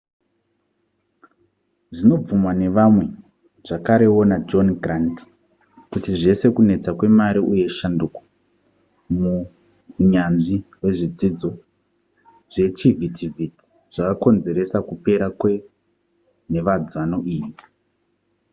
zvinobvumwa nevamwe zvakarewo najohn grant kuti zvese kunetsa kwemari uye shanduko muhunyanzvi hwezvidzidzo zvechivhitivhiti zvakakonzeresa kupera kwenhevedzano iyi